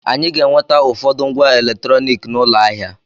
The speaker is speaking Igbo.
Anyị ga-enweta ụfọdụ ngwa eletrọniki n'ụlọ ahịa.